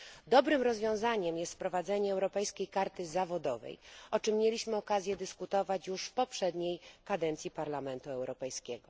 Dobrym rozwiązaniem jest wprowadzenie Europejskiej Karty Zawodowej, o czym mieliśmy okazję dyskutować już w poprzedniej kadencji Parlamentu Europejskiego.